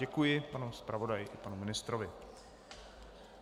Děkuji panu zpravodaji i panu ministrovi.